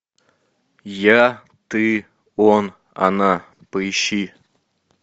я ты он она поищи